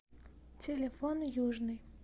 телефон южный